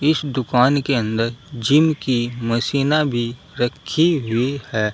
इस दुकान के अंदर जिम की मशीना भी रखी हुई है।